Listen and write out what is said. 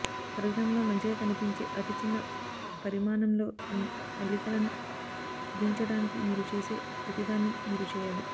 పరికరంలో మంచిగా కనిపించే అతి చిన్న పరిమాణంలో మీ అల్లికలను కుదించడానికి మీరు చేసే ప్రతిదాన్ని మీరు చేయాలి